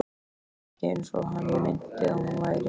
Hún var ekki eins og hann minnti að hún væri.